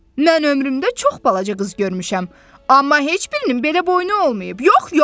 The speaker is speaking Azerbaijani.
Mən ömrümdə çox balaca qız görmüşəm, amma heç birinin belə boynu olmayıb.